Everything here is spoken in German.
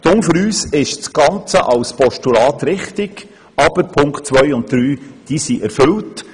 Für uns ist das Ganze in Form eines Postulats richtig, aber die Punkte 2 und 3 sind bereits erfüllt.